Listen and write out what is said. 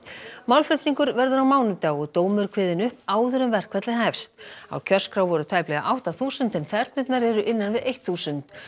málflutningur verður á mánudag og dómur kveðinn upp áður en verkfallið hefst á kjörskrá voru tæplega átta þúsund en þernurnar eru innan við eitt þúsund